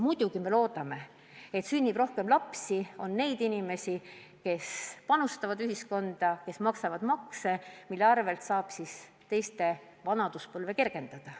Muidugi me loodame, et sünnib rohkem lapsi, et on neid inimesi, kes panustavad ühiskonda, kes maksavad makse, mille abil saab eakate vanaduspõlve kergendada.